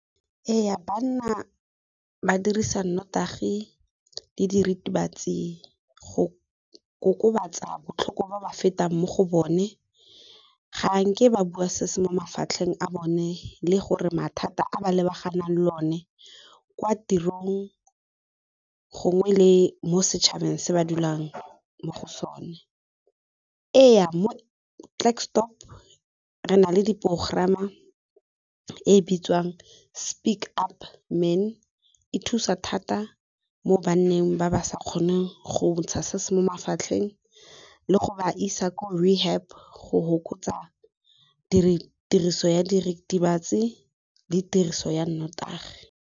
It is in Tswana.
Ee, banna ba dirisa nnotagi le diritibatsi go kokobatsa botlhoko bo ba fetang mo go bone, ga nke ba bua sese mo mafatlheng a bone le gore mathata a ba lebaganang le one kwa tirong gongwe le mo setšhabeng se ba dulang mo go sone. Ee, mo Klerksdorp re na le di porogerama e bitswang Speak up men, e thusa thata mo banneng ba ba sa kgoneng go ntsha se se mo mafatlheng, le go ba isa ko rehab go hokotsa tiriso ya diritibatsi le tiriso ya nnotagi.